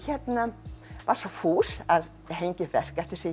var svo fús að hengja upp verk eftir sig